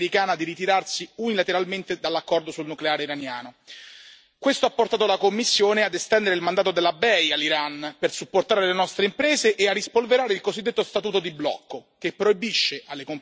Questo ha portato la Commissione ad estendere il mandato della BEI all'Iran per supportare le nostre imprese e a rispolverare il cosiddetto statuto di blocco, che proibisce alle compagnie europee di adeguarsi alle sanzioni extraterritoriali statunitensi.